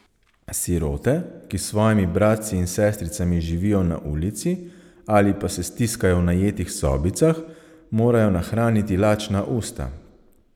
Sirote, ki s svojimi bratci in sestricami živijo na ulici ali pa se stiskajo v najetih sobicah, morajo nahraniti lačna usta.